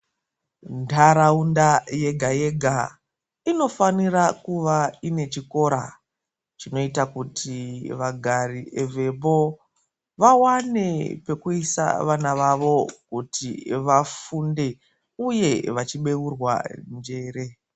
Ntaraunda yega yega inofanira kuva ine chikora chinoita kuti vagari vemo vawane pekuisa vana vavo kuti vafunde uye vachibeurwa njere.